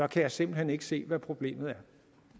kan jeg simpelt hen ikke se hvad problemet